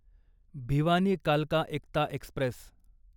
भिवानी कालका एकता एक्स्प्रेस